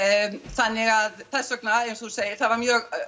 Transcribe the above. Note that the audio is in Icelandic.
þannig að þess vegna eins og þú segir það var mjög